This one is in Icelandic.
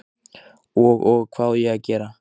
Og, og. hvað á ég að gera?